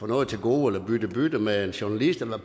noget til gode eller bytte bytte med en journalist eller